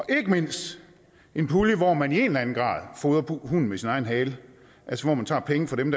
er ikke mindst en pulje hvor man i en eller anden grad fodrer hunden med sin egen hale altså hvor man tager penge fra dem